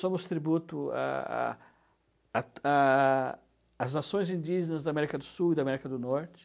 Somos tributo à à à às nações indígenas da América do Sul e da América do Norte.